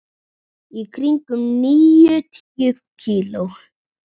Í kringum níutíu kíló.